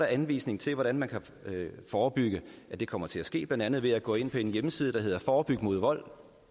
anvisning til hvordan man kan forebygge at det kommer til at ske blandt andet ved at gå ind på en hjemmeside der hedder forebygvold